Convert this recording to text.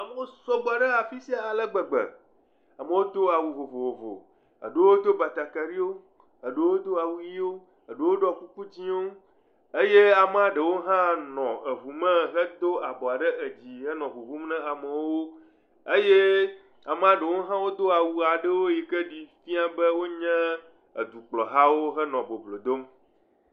Amewo sɔgbɔ ɖe afisia alegbegbe. Amewo do awu vovovowo. Eɖewo do batakaliwo, eɖewo do awu ɣi wò, eɖewo ɖɔ kuku dzɛwo eye ame ɖewo hã nɔ ʋu me hedo abo ɖe dzi henɔ ʋuʋum ɖe aya me. Ame ɖewo do awu si fia be wonye tukplɔla. Wonɔ boblo dom.